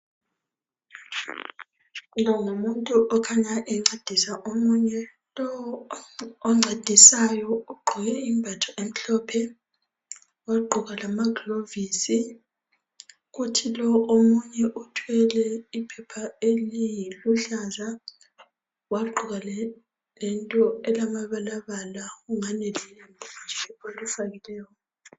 Lo ngumuntu okhanya encedisa omunye. Lowu oncedisayo ugqoke imbatho emhlophe wagqoka lamaglovosi kuthi lo omunye uthwele iphepha eliluhlaza wagqoka lento elamabalabala engani lilembu nje alifakileyo.